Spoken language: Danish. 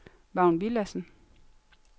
Vagn Villadsen